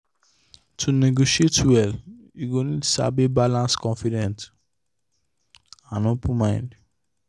to negotiate contract well you go need sabi balance confidence and open mind.